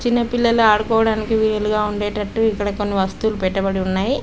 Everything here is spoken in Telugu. చిన్న పిల్లలు ఆడుకోవడానికి వీలుగా ఉండే తట్టు ఇక్కడ కొన్ని వొస్తులు పెట్టబడి ఉన్నాయ్.